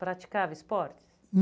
Praticava esportes?